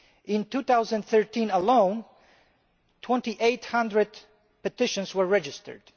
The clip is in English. In 2013 alone, 2800 petitions were registered.